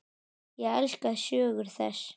Ég elska sögur þess.